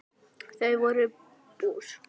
Þau voru bús.